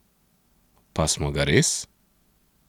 Pa smo ga res?